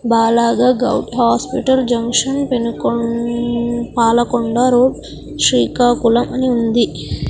బాలాగ govt hospital junction పెనుకొ-- Palakonda road Srikakulam అని ఉంది .